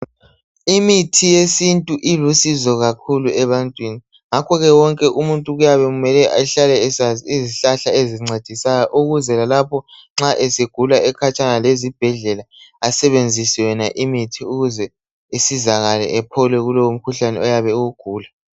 Imithi yesintu ilusizo kakhulu ebantwini ngakhoke wonke umuntu kuyabe kumele ahlale esazi izihlahla ezincedisayo ukuze lalapho nxa esegula ekhatshana lezibhedlela asebenzise yona imithi ukuze asizakale aphole kumkhuhlane oyabe ewugula